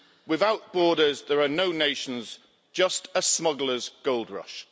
Without borders there are no nations, just a smugglers' gold rush.